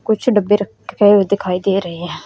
कुछ डब्बे रखे हुए दिखाई दे रहे हैं।